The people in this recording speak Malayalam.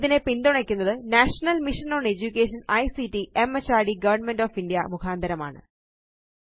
ഇതിനെ പിന്തുണയ്ക്കുന്നത് national mission on education ICT മെഹർദ് ഗവർണ്മെന്റ് ഓഫ് ഇന്ത്യ മുഖാന്തരമാണ്